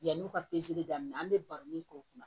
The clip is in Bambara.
Yann'u ka daminɛ an bɛ baro min kɔ o kuma